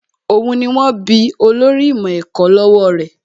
Òun ni wón bí olórí ìmọ̀ ẹ̀kọ́ lọ́wọ́ rẹ̀